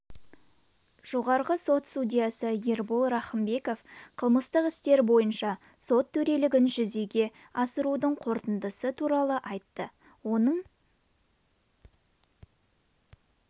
жоғарғы сот судьясы ербол рахымбеков қылмыстық істер бойынша сот төрелігін жүзеге асырудың қорытындысы туралы айтты оның